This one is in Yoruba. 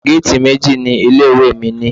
Géètì méjì ni ilé ìwé mi ní.